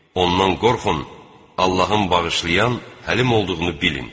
Ondan qorxun, Allahın bağışlayan, həlim olduğunu bilin.